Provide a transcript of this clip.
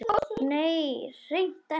Nei, hreint ekki.